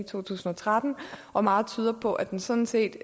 to tusind og tretten og meget tyder på at den sådan set